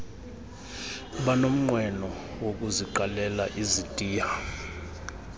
abanomnqweno wokuziqalela izitiya